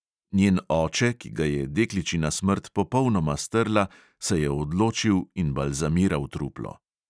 Njen oče, ki ga je dekličina smrt popolnoma strla, se je odločil in balzamiral truplo.